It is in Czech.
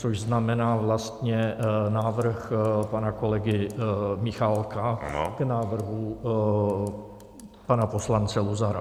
Což znamená vlastně návrh pana kolegy Michálka k návrhu pana poslance Luzara.